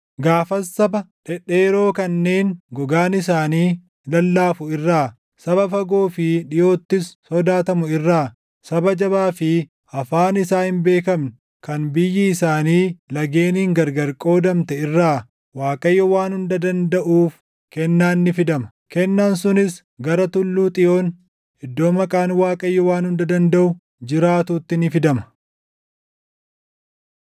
Gaafas saba dhedheeroo kanneen gogaan isaanii lallaafu irraa, saba fagoo fi dhiʼoottis sodaatamu irraa, saba jabaa fi afaan isaa hin beekamne kan biyyi isaanii lageeniin gargar qoodamte irraa Waaqayyoo Waan Hunda Dandaʼuuf kennaan ni fidama; kennaan sunis gara Tulluu Xiyoon, iddoo Maqaan Waaqayyo Waan hunda dandaʼu jiraatutti ni fidama.